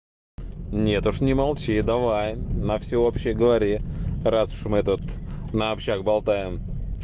нет уж не молчи давай на всеобщий говори раз уж мы этот на общак болтаем